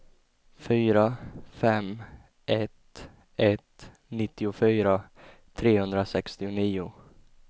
fyra fem ett ett nittiofyra trehundrasextionio